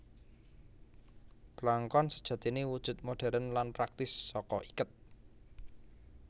Blangkon sejatiné wujud modhèrn lan praktis saka iket